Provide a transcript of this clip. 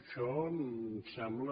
això em sembla